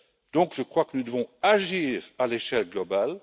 Donc, je crois que nous devons agir à l'échelle globale.